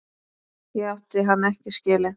Ég átti hann ekki skilið.